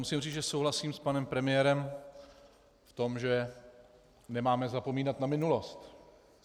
Musím říct, že souhlasím s panem premiérem v tom, že nemáme zapomínat na minulost.